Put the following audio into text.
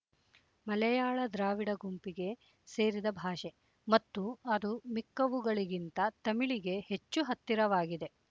ಮಲೆಯಾಳ ದ್ರಾವಿಡ ಗುಂಪಿಗೆ ಸೇರಿದ ಭಾಷೆ ಮತ್ತು ಅದು ಮಿಕ್ಕವುಗಳಿಗಿಂತ ತಮಿಳಿಗೆ ಹೆಚ್ಚು ಹತ್ತಿರವಾಗಿದೆ